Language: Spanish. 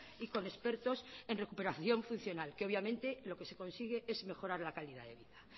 y con expertos en recuperación funcional que obviamente lo que se consigue es mejorar la calidad de vida